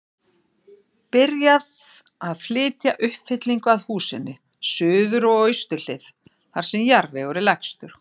Byrjað að flytja uppfyllingu að húsinu, suður og austur hlið, þar sem jarðvegur er lægstur.